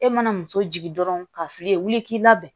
E mana muso jigin dɔrɔn ka fili wuli k'i labɛn